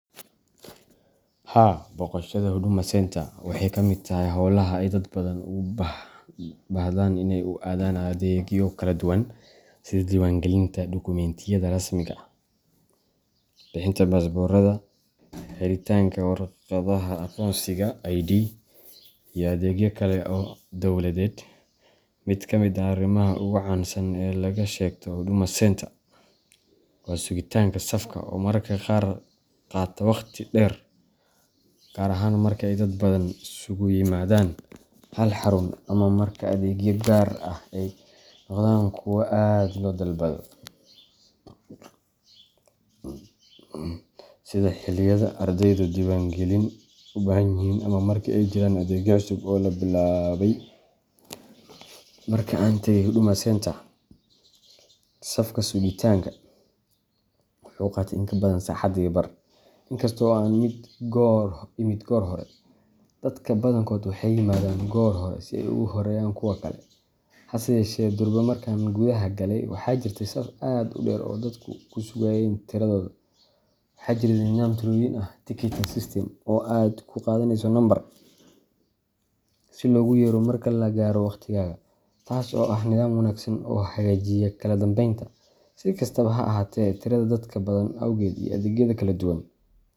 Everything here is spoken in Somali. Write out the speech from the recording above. Haa, booqashada Huduma Centre waxay ka mid tahay hawlaha ay dad badan u baahdaan inay u aadaan adeegyo kala duwan sida diiwaangelinta dukumentiyada rasmiga ah, bixinta baasaboorrada, helitaanka warqadaha aqoonsiga ID, iyo adeegyo kale oo dawladeed. Mid ka mid ah arrimaha ugu caansan ee laga sheegto Huduma Centre waa sugitaanka safka oo mararka qaar qaata waqti dheer, gaar ahaan marka ay dad badan isugu yimaadaan hal xarun ama marka adeegyo gaar ah ay noqdaan kuwo aad loo dalbado, sida xilliyada ardaydu diiwaangelin u baahan yihiin ama marka ay jiraan adeegyo cusub oo la bilaabay. Markii aan tagay Huduma Centre, safka sugitaanku wuxuu qaatay in ka badan saacad iyo bar, inkasta oo aan imid goor hore. Dadka badankood waxay yimaadaan goor hore si ay uga horreeyaan kuwa kale, hase yeeshee, durba markaan gudaha galay, waxaa jirtay saf aad u dheer oo dadku ku sugayeen tiradooda. Waxaa jiray nidaam tirooyin ah ticketing system oo aad ka qaadanayso nambar si loogu yeero marka la gaaro waqtigaaga, taas oo ah nidaam wanaagsan oo hagaajiya kala dambeynta. Si kastaba ha ahaatee, tirada dadka badan awgeed iyo adeegyada kala duwan.